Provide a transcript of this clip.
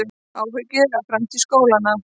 Áhyggjur af framtíð skólanna